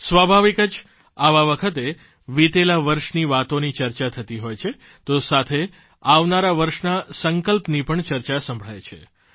સ્વાભાવિક જ આવા વખતે વીતેલા વર્ષની વાતોની ચર્ચા થતી હોય છે તો સાથે આવનારા વર્ષના સંકલ્પની પણ ચર્ચા સંભળાય છે